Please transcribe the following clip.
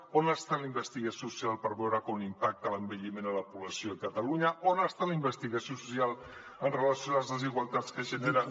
on està la investigació social per veure com impacta l’envelliment en la població de catalunya on està la investigació social amb relació a les desigualtats que genera